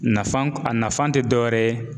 Nafa k a nafan te dɔ wɛrɛ ye